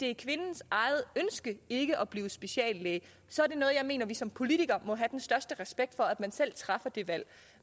er kvindens eget ønske ikke at blive speciallæge så er det noget jeg mener vi som politikere må have den største respekt for altså at man selv træffer det valg